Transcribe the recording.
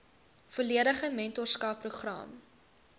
volledige mentorskap program